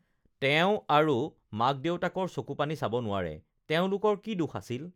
তেওঁ আৰু মাক-দেউতাকৰ চকুপানী চাব নোৱাৰে: তেওঁলোকৰ কি দোষ আছিল?